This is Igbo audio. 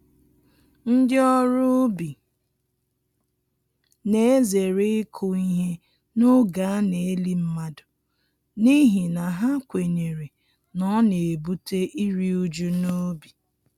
Ndị ọrụ ubi na-ezere ịkụ ihe n’oge a na-eli mmadụ, n’ihi na ha kwenyere na ọ na-ebute iri uju n'ubi.